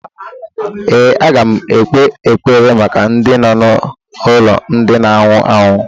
Ee, aga m ekpe ekpere maka ndị nọ n'ụlọ ndị na anwụ anwụ